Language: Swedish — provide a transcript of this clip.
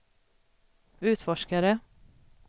utforskare